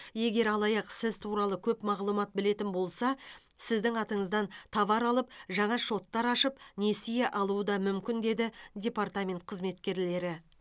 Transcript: егер алаяқ сіз туралы көп мағлұмат білетін болса сіздің атыңыздан товар алып жаңа шоттар ашып несие алуы да мүмкін деді департамент қызметкерлері